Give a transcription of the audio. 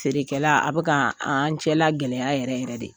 Feerekɛla, a bɛka an cɛla gɛlɛya yɛrɛ yɛrɛ de